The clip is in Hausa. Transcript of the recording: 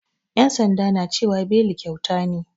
Yan sanda na cewa beli kyauta ne.